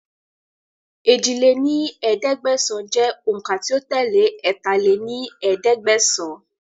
èjì lé ní ẹ̀ẹ́dẹ́gbẹ́sán jẹ́ òun ká tí ó tẹ́lé ẹ̀ta lé ní ẹ̀ẹ́dẹ́gbẹ́sán